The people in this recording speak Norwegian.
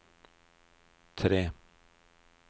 tre